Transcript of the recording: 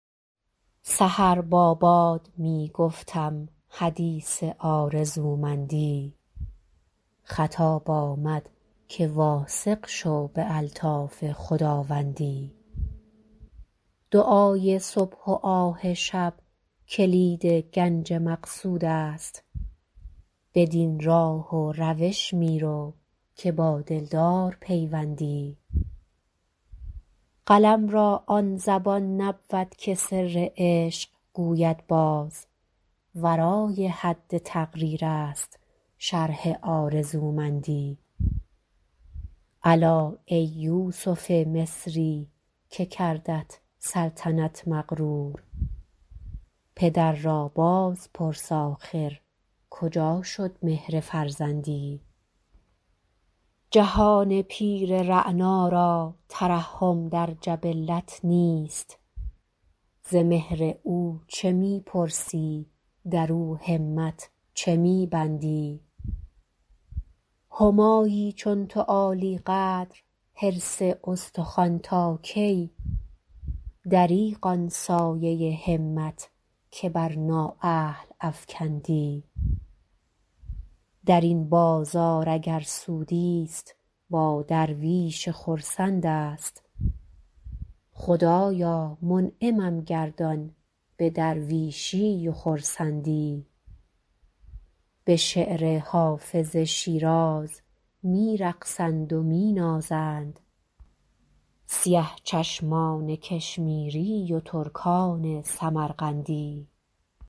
سحر با باد می گفتم حدیث آرزومندی خطاب آمد که واثق شو به الطاف خداوندی دعای صبح و آه شب کلید گنج مقصود است بدین راه و روش می رو که با دلدار پیوندی قلم را آن زبان نبود که سر عشق گوید باز ورای حد تقریر است شرح آرزومندی الا ای یوسف مصری که کردت سلطنت مغرور پدر را باز پرس آخر کجا شد مهر فرزندی جهان پیر رعنا را ترحم در جبلت نیست ز مهر او چه می پرسی در او همت چه می بندی همایی چون تو عالی قدر حرص استخوان تا کی دریغ آن سایه همت که بر نااهل افکندی در این بازار اگر سودی ست با درویش خرسند است خدایا منعمم گردان به درویشی و خرسندی به شعر حافظ شیراز می رقصند و می نازند سیه چشمان کشمیری و ترکان سمرقندی